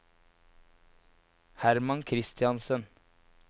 Hermann Christiansen